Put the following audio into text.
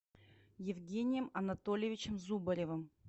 евгением анатольевичем зубаревым